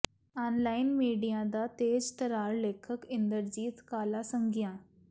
ਆਨ line media ਦਾ ਤੇਜ਼ ਤਰਾਰ ਲੇਖਕ ਇੰਦਰਜੀਤ ਕਾਲਾਸੰਘਿਆਂ